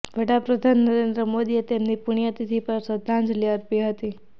વડા પ્રધાન નરેન્દ્ર મોદીએ તેમની પુણ્યતિથિ પર શ્રદ્ધાંજલિ અર્પી હતી